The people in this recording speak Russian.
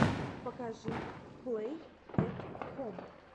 покажи плэй эт хом